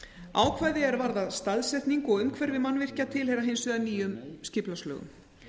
ákvæði er varða staðsetningu og umhverfi mannvirkja tilheyra hins vegar nýjum skipulagslögum